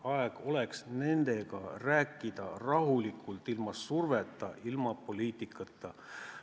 Aeg oleks nendega rääkida rahulikult, ilma surveta, ilma poliitikata.